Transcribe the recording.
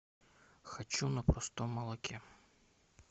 хочу на простом молоке